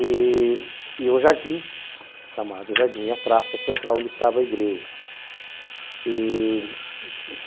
e e o Jardim, chamado Jardim, a praça central onde estava a igreja. E...